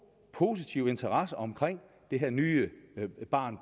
positiv interesse omkring det her nye barn